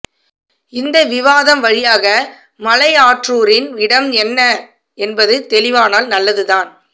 இந்த விவாதம் வழியாக மலையாற்றூரின் இடம் என்ன என்பது தெளிவானால் நல்லதுதான்